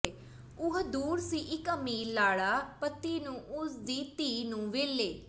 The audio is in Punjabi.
ਉਹ ਦੂਰ ਸੀ ਇਕ ਅਮੀਰ ਲਾੜਾ ਪਤੀ ਨੂੰ ਉਸ ਦੀ ਧੀ ਨੂੰ ਵੇਲੇ